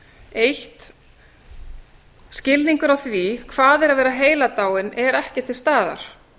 fyrsta skilningur á því að hvað er að vera heiladáinn er ekki til staðar